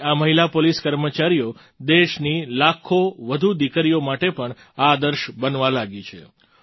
આપણી આ મહિલા પોલીસ કર્મચારીઓ દેશની લાખો વધુ દીકરીઓ માટે પણ આદર્શ બનવા લાગી છે